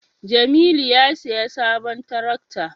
jamilu a siya sabon tarakta